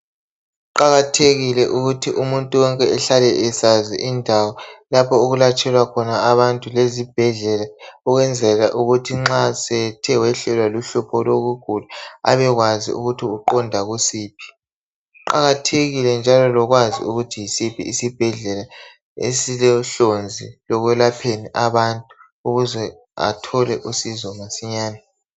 kuqakaqthekile ukuthi umuntu wonke ahlale esazi indawo lapho okulatshelwa khona abantu ezibhedlela ukwenzela ukuthi nxa esethe wehlelwa luhlupho abekwazi ukuthi uqonda kusiphi kuqakathekile lokwazi ukuthi yisiphi isibhedlela esilohlonzi ekwelapheni abantu ukuze athole usizo masinyane